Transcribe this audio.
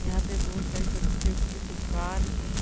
यहाँ पर बहुत सारी सब्जियों की दुकान हैं।